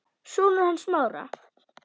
Sonur hans Smára.